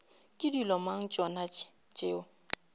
ke dilo mang tšona tšeo